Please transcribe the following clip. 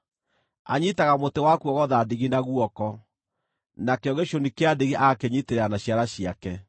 Anyiitaga mũtĩ wa kuogotha ndigi na guoko, nakĩo gĩcũni kĩa ndigi agakĩnyiitĩrĩra na ciara ciake.